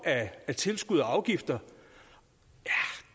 af tilskud og afgifter